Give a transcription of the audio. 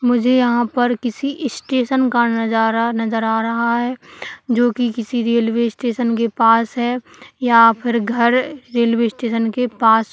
मुझे यहा पर किसी स्टेशन का नजारा नजर आ रहा है जो कि किसी रेलवे स्टेशन के पास है यहाँ पर घर रेलवे स्टेशन के पास--